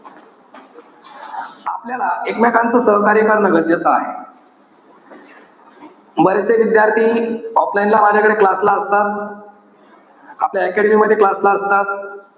आपल्याला एकमेकांच सहकार्य करणं गरजेचं आहे. बरेचसे विद्यार्थी offline ला माझ्याकडे class ला असतात. आपल्या academy मध्ये class ला असतात.